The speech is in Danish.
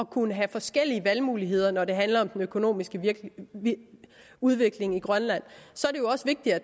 kunne have forskellige valgmuligheder når det handler om den økonomiske udvikling i grønland så